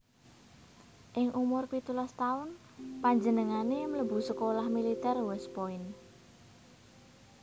Ing umur pitulas taun panjenengane mlebu sekolah militer West Point